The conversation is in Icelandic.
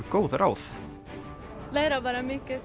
góð ráð læra bara mikið